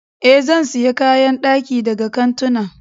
Ee, zan sayi kayan daki daga kantuna.